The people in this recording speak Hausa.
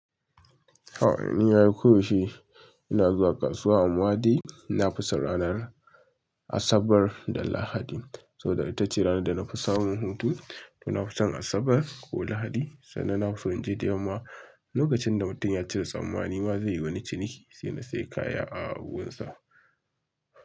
Haba ni ai koyaushe ina zuwa kasuwa amma dai, na fi son ranar Asabar da Lahadi. Saboda ita ce ranar da na fi samun hutu to na fi son Asabar ko Lahadi, sannan na fi son inje da yamma lokacin da mutum ya cire tsammani ma zai yi wani ciniki sai na sayi kaya a gurinsa.